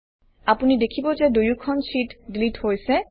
আপুনি দেখিব যে দুয়োখন শ্বিট ডিলিট হৈছে